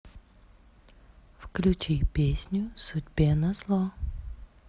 включи песню судьбе назло